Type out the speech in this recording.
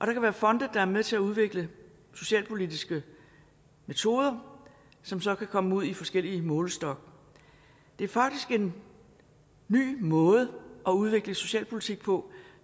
kan være fonde der er med til at udvikle socialpolitiske metoder som så kan komme ud i forskellig målestok det er faktisk en ny måde at udvikle socialpolitik på